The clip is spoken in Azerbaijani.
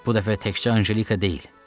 Bu dəfə təkcə Anjelika deyil.